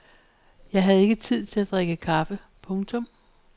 Jeg havde ikke tid til at drikke kaffe. punktum